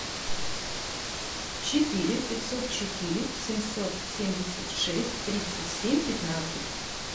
четыре пятьсот четыре семьсот семьдесят шесть тридцать семь пятнадцать